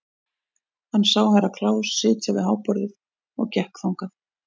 Hann sá Herra Kláus sitja við háborðið og gekk þangað.